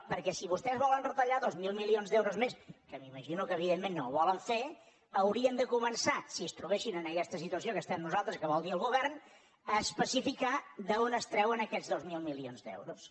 perquè si vostès volen retallar dos mil milions d’euros més que m’imagino que evidentment no ho volen fer haurien de començar si es trobessin en aquesta situació que estem nosaltres que vol dir el govern a especificar d’on es treuen aquests dos mil milions d’euros